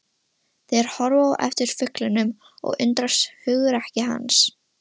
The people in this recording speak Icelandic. Þeir horfa á eftir fuglinum og undrast hugrekki hans.